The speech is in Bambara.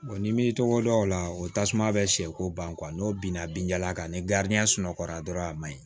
n'i m'i tɔgɔ daw la o tasuma bɛ siɲɛko ban n'o binna binjalan kan ni sunɔgɔ la dɔrɔn a man ɲi